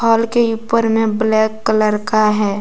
Hall के ऊपर में ब्लैक कलर का है।